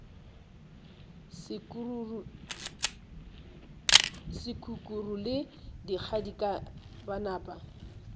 sekukuru le kgadika ba napa